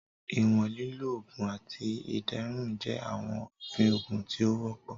Iwọn lilo, oogun, ati iderun jẹ awọn ofin oogun ti o wọpọ.